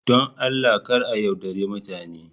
Don Allah kar a yaudari mutane.